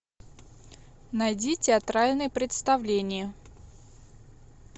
найди театральное представление